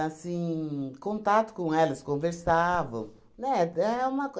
assim, contato com elas, conversavam, né? É uma